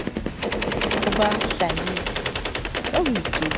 ho bahlahisi ka ho ikenyetsa